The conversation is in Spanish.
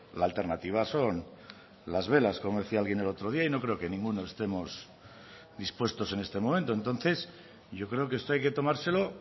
la alternativa son las velas como decía alguien el otro día y no creo que ninguno estemos dispuestos en este momento entonces yo creo que esto hay que tomárselo